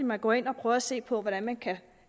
man går ind og prøver at se på hvordan man kan